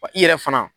Wa i yɛrɛ fana